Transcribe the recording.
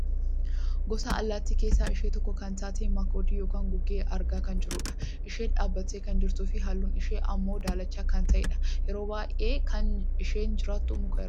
Gosa allaattii keessaa ishee tokko kan taate makoodii yookaan gugee argaa kan jirrudha. Isheenis dhaabbattee kan jirtuufi halluun ishee ammoo daalacha kan ta'edha. Yeroo baayyee kan isheen jiraattu muka irra.